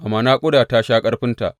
Amma naƙuda ta sha ƙarfinta.